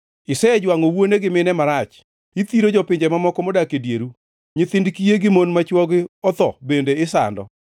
Isejwangʼo wuone gi mine marach; ithiro jopinje mamoko modak e dieru; nyithind kiye gi mon ma chwogi otho bende isando.